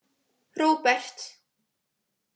Róbert